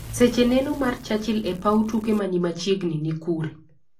Seche nenoo mar Churchill e paw tuke manimachiegni ni kure?